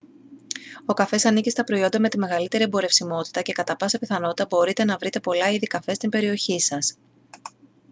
ο καφές ανήκει στα προϊόντα με τη μεγαλύτερη εμπορευσιμότητα και κατά πάσα πιθανότητα μπορείτε να βρείτε πολλά είδη καφέ στην περιοχή σας